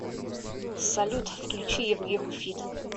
салют включи евгеху фид